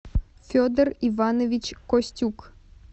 федор иванович костюк